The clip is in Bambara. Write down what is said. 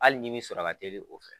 Hali ɲimi sɔrɔ ka teli o fɛ